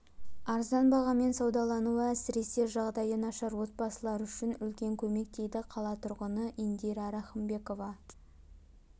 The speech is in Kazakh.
арзан бағамен саудалануы әсіресе жағдайы нашар отбасылар үшін үлкен көмек дейді қала тұрғыны индира рахымбекова